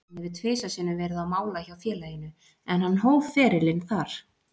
Hann hefur tvisvar sinnum verið á mála hjá félaginu, en hann hóf ferilinn þar.